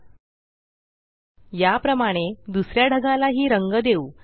एलटीपॉजेग्ट याप्रमाणे दुसऱ्या ढगाला हि रंग देऊ